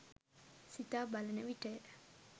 සිතා බලන විටය.